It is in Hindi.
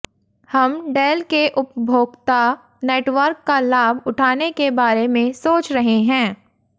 हम डेल के उपभोक्ता नेटवर्क का लाभ उठाने के बारे में सोच रहे हैं